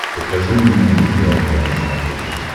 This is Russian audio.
покажи мне амедиа два на смотрешке